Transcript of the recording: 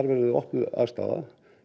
verði opnuð aðstaða